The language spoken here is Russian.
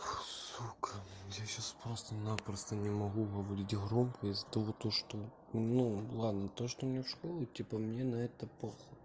сука я сейчас просто-напросто не могу говорить громко из-за того то что ну ладно то что мне в школу идти по мне на это похуй